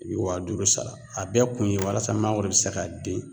I be wa duuru sara. A bɛɛ kun ye walasa mangoro bi se ka den